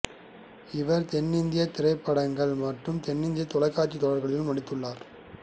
இவர் தென்னிந்திய திரைப்படங்கள் மற்றும் தென்னிந்திய தொலைக்காட்சி தொடர்களிலும் நடித்துள்ளார்